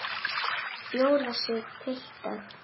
Bjóða sig, piltar.